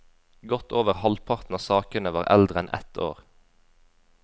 Godt over halvparten av sakene var eldre enn ett år.